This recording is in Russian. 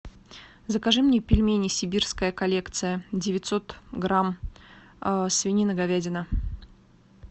закажи мне пельмени сибирская коллекция девятьсот грамм свинина говядина